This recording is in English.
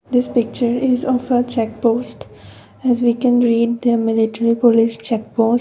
this picture is of a check post as we can read the military police checkpost.